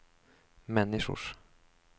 människors